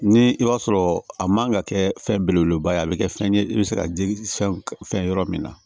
Ni i b'a sɔrɔ a man ka kɛ fɛn belebeleba ye a bɛ kɛ fɛn ye i bɛ se ka fɛn fɛn yɔrɔ min na